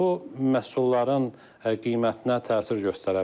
Bu məhsulların qiymətinə təsir göstərə bilər.